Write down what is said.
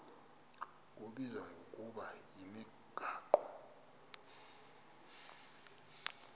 kubizwa ngokuba yimigaqo